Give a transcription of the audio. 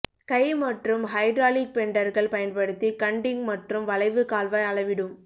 கை மற்றும் ஹைட்ராலிக் பெண்டர்கள் பயன்படுத்தி கன்டிங் மற்றும் வளைவு கால்வாய் அளவிடும்